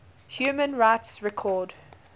human rights record